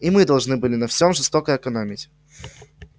и мы должны были на всём жестоко экономить